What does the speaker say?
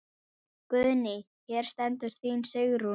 Guðný: Hér stendur þín Sigrún?